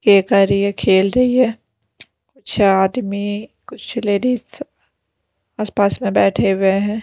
ये कर रही है खेल रही है अच्छा आदमी कुछ लेडीज आसपास में बैठे हुए हैं।